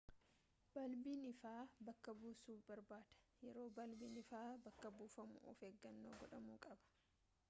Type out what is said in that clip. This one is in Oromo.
baalbiin ifaa bakka buusuu barbaada yeroo baalbiin ifaa bakka buufamu of eeggannoon gudhamuu qaba